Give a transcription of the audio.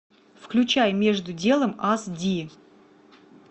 включай между делом ас ди